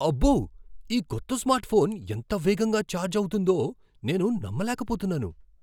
అబ్బో, ఈ కొత్త స్మార్ట్ఫోన్ ఎంత వేగంగా ఛార్జ్ అవుతుందో నేను నమ్మలేకపోతున్నాను!